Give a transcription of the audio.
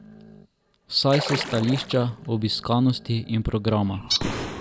Vsaj s stališča obiskanosti in programa.